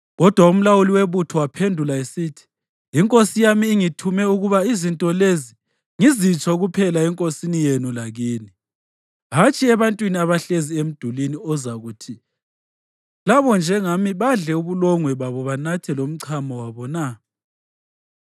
Kodwa umlawuli webutho waphendula esithi, “Inkosi yami ingithume ukuba izinto lezi ngizitsho kuphela enkosini yenu lakini, hatshi ebantwini abahlezi emdulini okuzakuthi labo njengani badle ubulongwe babo banathe lomchamo wabo na?”